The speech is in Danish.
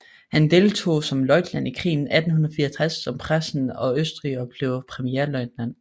Han deltog som løjtnant i krigen 1864 mod Preussen og Østrig og blev premierløjtnant